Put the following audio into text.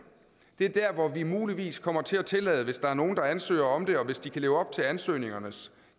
er der hvor vi muligvis kommer til at tillade hvis der er nogle der ansøger om det og hvis de kan leve op til ansøgningernes